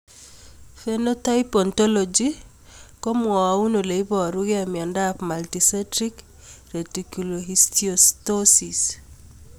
Phenotype ontology ko mwau ole iparukei miondop Multicentric reticulohistiocytosis.